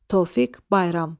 Tofiq Bayram.